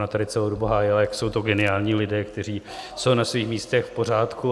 Ona tady celou dobu hájila, jak jsou to geniální lidé, kteří jsou na svých místech v pořádku.